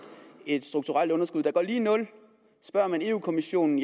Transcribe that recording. et strukturelt underskud der går lige i nul spørger man europa kommissionen